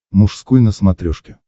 мужской на смотрешке